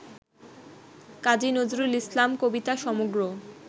কাজী নজরুল ইসলাম কবিতা সমগ্র